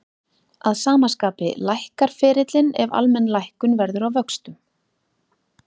Að sama skapi lækkar ferillinn ef almenn lækkun verður á vöxtum.